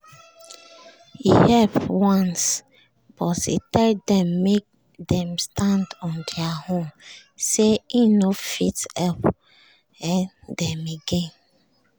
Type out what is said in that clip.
he help once but tell dem make dem stand on deir own say hin no fit help um dem again.